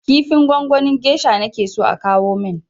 Kifin gwangwanin gesha nake so a kawo min!